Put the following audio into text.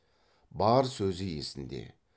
бар сөзі есінде